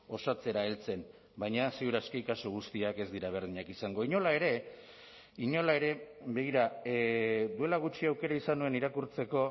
osatzera heltzen baina ziur aski kasu guztiak ez dira berdinak izango inola ere inola ere begira duela gutxi aukera izan nuen irakurtzeko